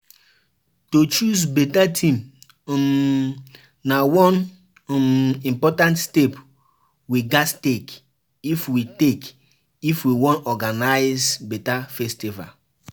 To choose beta theme um na one um important step we gatz take if we take if we wan organize beta festival.